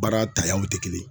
Baara tayaw te kelen